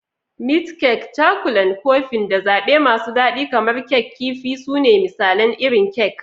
Meat kek, Cakulan Kofin, da zaɓe masu daɗi kamar Kek Kifi su ne misalan irin kek.